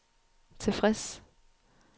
tilfreds